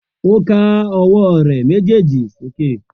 O ká ọwọ rẹ mejeeji sókè